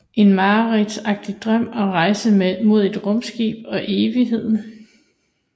En mareridtsagtig drøm og rejse mod et rumskib og evigheden